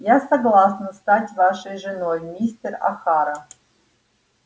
я согласна стать вашей женой мистер охара